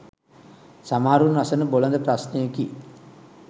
සමහරුන් අසන බොළඳ ප්‍රශ්නයකි.